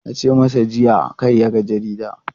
Na ce masa jiya kada ya yaga jarida!